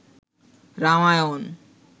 Ramayana